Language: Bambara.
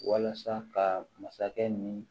Walasa ka masakɛ ni